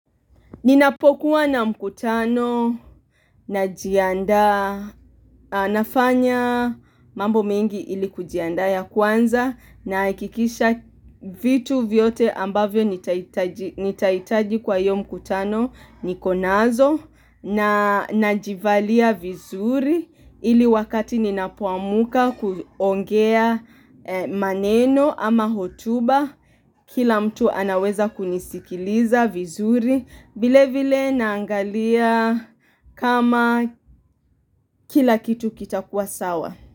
Ninapokuwa na mkutano najiandaa nafanya mambo mingi ili kujiandaa ya kwanza nahakikisha vitu vyote ambavyo nitahitaji kwa hiyo mkutano nikonazo na najivalia vizuri ili wakati ninapoamka kuongea maneno ama hotuba kila mtu anaweza kunisikiliza vizuri. Vile vile naangalia kama kila kitu kitakuwa sawa.